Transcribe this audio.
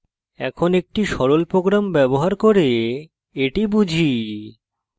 এখন একটি sample program ব্যবহার করে এটি বুঝি